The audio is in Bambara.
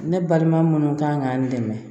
Ne baliman minnu kan ka n dɛmɛ